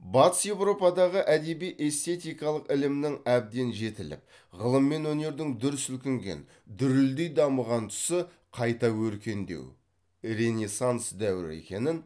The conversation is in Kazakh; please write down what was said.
батыс еуропадағы әдеби эстетикалық ілімнің әбден жетіліп ғылым мен өнердің дүр сілкінген дүрілдей дамыған тұсы қайта өркендеу ренессанс дәуірі екенін